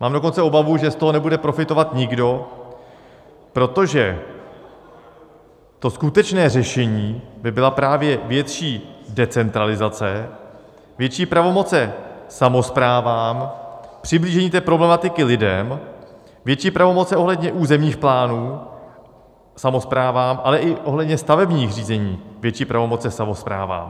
Mám dokonce obavu, že z toho nebude profitovat nikdo, protože to skutečné řešení by byla právě větší decentralizace, větší pravomoce samosprávám, přiblížení té problematiky lidem, větší pravomoce ohledně územních plánů samosprávám, ale i ohledně stavebních řízení větší pravomoce samosprávám.